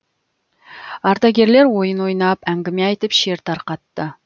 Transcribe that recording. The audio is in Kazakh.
ардагерлер ойын ойнап әңгіме айтып шер тарқатты